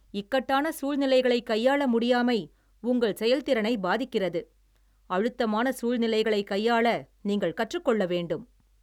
இக்கட்டான சூழ்நிலைகளை கையாள முடியாமை உங்கள் செயல்திறனை பாதிக்கிறது. அழுத்தமான சூழ்நிலைகளை கையாள நீங்கள் கற்று கொள்ள வேண்டும்